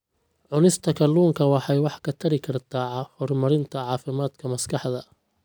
Cunista kalluunka waxay wax ka tari kartaa horumarinta caafimaadka maskaxda.